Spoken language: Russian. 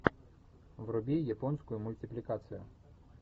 вруби японскую мультипликацию